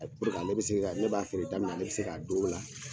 Ne b'a feere da min na, ne bi se k'a d'o la